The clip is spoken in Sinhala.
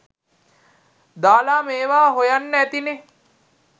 දාලා මේවා හොයන්න ඇතිනේ.